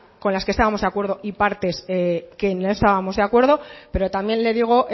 con las que estábamos de acuerdo y partes que no estábamos de acuerdo pero también le digo